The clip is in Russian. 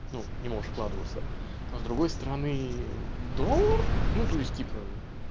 ну не можешь вкладываться но с другой стороны в доллар ну то есть типо